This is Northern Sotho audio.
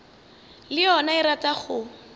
le yona e rata go